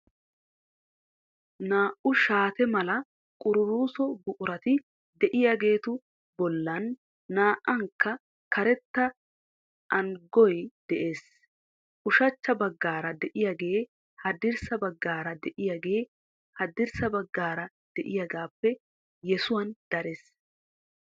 Naa"u shaate mala qururuuso buqurati de'iyaageetu bollan naa"ankka karetta aanugay de'ees. Ushachcha baggaara de'iyaagee haddirssa baggaara de'iyaagee haddirssa baggaara de'iyagaappe yesuwan darees.